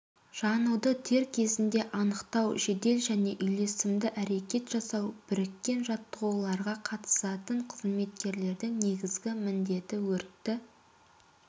жануды дер кезінде анықтау жедел және үйлесімді әрекет жасау біріккен жаттуғыларға қатысатын қызметкерлердің негізгі міндеті өртті